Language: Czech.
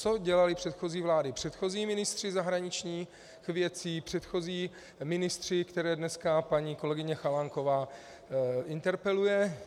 Co dělaly předchozí vlády, předchozí ministři zahraničních věcí, předchozí ministři, které dneska paní kolegyně Chalánková interpeluje?